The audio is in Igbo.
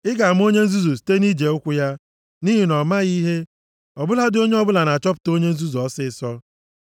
Ị ga-ama onye nzuzu site nʼije ụkwụ ya, nʼihi na o maghị ihe. Ọ bụladị onye ọbụla na-achọpụta onye nzuzu + 10:3 \+xt Ilu 13:16; Ilu 18:2\+xt* ọsịịsọ.